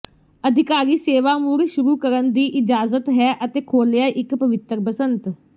ਅਧਿਕਾਰੀ ਸੇਵਾ ਮੁੜ ਸ਼ੁਰੂ ਕਰਨ ਦੀ ਇਜਾਜ਼ਤ ਹੈ ਅਤੇ ਖੋਲ੍ਹਿਆ ਇੱਕ ਪਵਿੱਤਰ ਬਸੰਤ